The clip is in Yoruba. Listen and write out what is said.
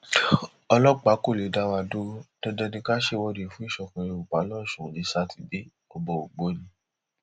ọlọpàá kò lè dá wa dúró dandan ni ká ṣèwọde fún ìṣọkan yorùbá losùn ní sátidé ọba ògbóni